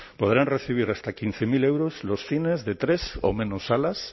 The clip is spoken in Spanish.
podrán recibir hasta quince mil euros los cines de tres o menos salas